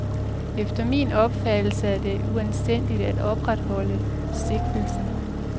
Efter min opfattelse er det uanstændigt at opretholde sigtelsen.